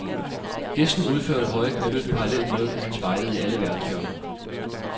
Gæsten udførte høje knæløft parallelt med, at han spejdede i alle verdenshjørner.